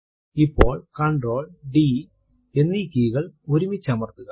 ഇപ്പോൾ Ctrl D എന്നീ കെയ് കൾ ഒരുമിച്ചമർത്തുക